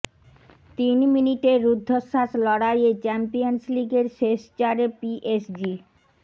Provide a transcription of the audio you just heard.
তিন মিনিটের রুদ্ধশ্বাস লড়াইয়ে চ্যাম্পিয়ন্স লিগের শেষ চারে পিএসজি